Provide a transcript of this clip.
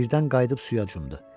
Birdən qayıdıb suya cumdu.